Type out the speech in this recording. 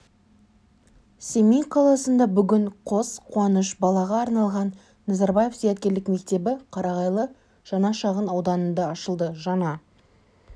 семей қаласында бүгін қос қуаныш балаға арналған назарбаев зияткерлік мектебі қарағайлы жаңа шағын ауданында ашылды жаңа